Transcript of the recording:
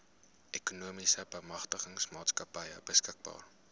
ekonomiese bemagtigingsmaatskappy beskikbaar